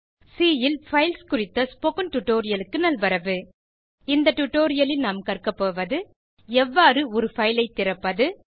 C ல் files குறித்த spoken டுடோரியலுக்கு நல்வரவு இந்த டுடோரியலில் நாம் கற்க போவது எவ்வாறு ஒரு பைல் ஐ திறப்பது